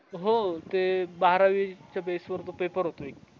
हो ते बारावीच्या base वर तो paper होतो एक